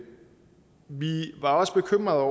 var også bekymrede